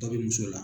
Dɔ bɛ muso la